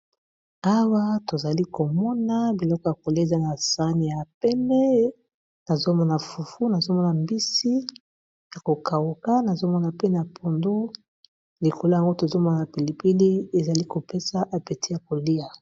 Awa tozali komona biloko ya kolia aza na sani, ya pembe nazomona fufu ,nazomona mbisi ya ko kauka, nazomona pe na pondu likolo nango tozomona pilipili ezali kopesa apeti ya kolia.